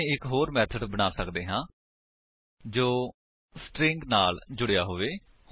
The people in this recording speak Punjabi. ਅਸੀ ਇੱਕ ਹੋਰ ਮੇਥਡ ਬਣਾ ਸੱਕਦੇ ਹਾਂ ਜੋ ਸਟਰਿੰਗ ਨਾਲ ਜੁੜਿਆ ਹੋਵੇ